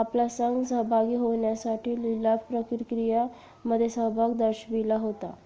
आपला संघ सहभागी होण्यासाठी लिलाव प्रक्रियेमध्ये सहभाग दर्शविला होता